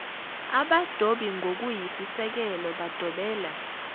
abadobi ngokuyisisekelo bedobela